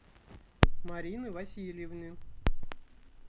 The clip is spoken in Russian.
марины васильевны